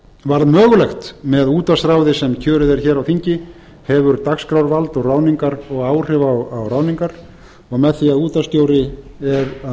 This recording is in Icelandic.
var mögulegt með útvarpsráði sem kjörið er hér á þingi hefur dagskrárvald ráðningar og áhrif á ráðningar og með því að